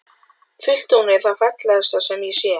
Fullt tungl er það fallegasta sem ég sé.